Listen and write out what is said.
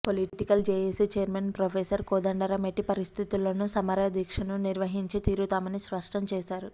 political JAC chairman professor Kodandaram ఎట్టి పరిస్థితుల్లోనూ సమరదీక్షను నిర్వహించి తీరుతామని స్పష్టం చేశారు